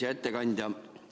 Hea ettekandja!